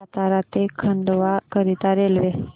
सातारा ते खंडवा करीता रेल्वे